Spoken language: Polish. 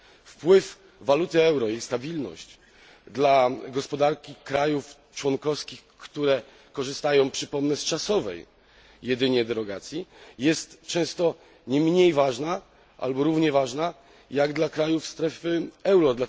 Wpływ waluty euro i jej stabilność dla gospodarki krajów członkowskich, które korzystają, przypomnę, z czasowej jedynie derogacji, są często nie mniej ważne, albo równie ważne jak dla krajów strefy euro.